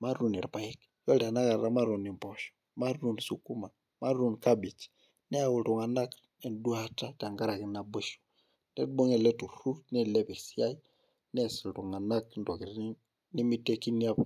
matuun irpaek. iyiolo tenakata matuun irpaek, matuun impoosho. matuun sukuma. matuun kabej. neyau iltunganak eduata tenkaraki naboisho. nibung' ele tururur neilep esiai, nees iltunganak intokitin nemeitekini apa.